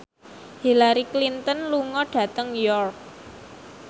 Hillary Clinton lunga dhateng York